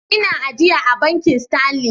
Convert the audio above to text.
Ina ajiya a Bankin Sterlin.